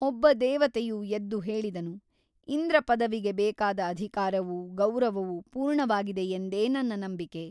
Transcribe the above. ಒಬ್ಬ ದೇವತೆಯು ಎದ್ದು ಹೇಳಿದನು ಇಂದ್ರಪದವಿಗೆ ಬೇಕಾದ ಅಧಿಕಾರವೂ ಗೌರವವೂ ಪೂರ್ಣವಾಗಿದೆಯೆಂದೇ ನನ್ನ ನಂಬಿಕೆ.